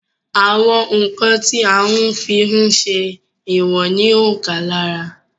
Àwọn ǹkan tí a ń fí ń ṣé ìwọ̀n ní òǹkà lára